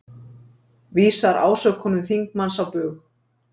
Vísar ásökunum þingmanns á bug